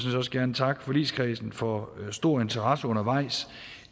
også gerne takke forligskredsen for stor interesse undervejs